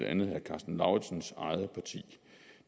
andet herre karsten lauritzens eget parti